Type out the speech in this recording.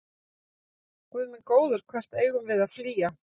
Guð minn góður, hvert eigum við að flýja?